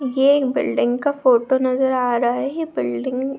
ये एक बिल्डिंग का फोटो नजर आ रहा हे बिल्डिंग --